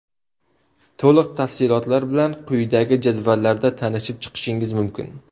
To‘liq tafsilotlar bilan quyidagi jadvallarda tanishib chiqishingiz mumkin.